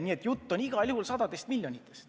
Nii et jutt on igal juhul sadadest miljonitest.